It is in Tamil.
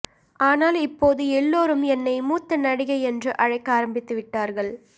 ஆனால் இப்போது எல்லோரும் என்னை மூத்த நடிகை என்று அழைக்க ஆரம்பித்து விட்டார்கள்